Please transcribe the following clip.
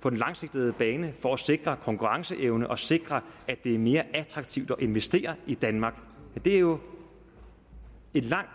på den lange bane for at sikre konkurrenceevnen og sikre at det er mere attraktivt at investere i danmark er jo et langt